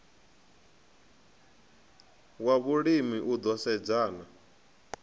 wa vhulimi u ḓo sedzana